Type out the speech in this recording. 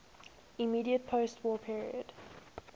immediate postwar period